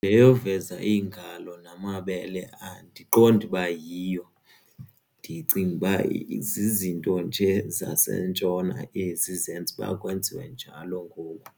Le yoveza iingalo namabele andiqondi uba yiyo ndicinguba zizinto nje zaseNtshona ezi zenza uba kwenziwe njalo ngoku.